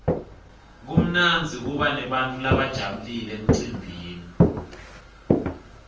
kumnandzi kuba nebantfu labajabulile emcimbini